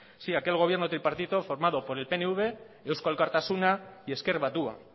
sí aquel gobierno tripartito formado por el pnv eusko alkartasuna y ezker batua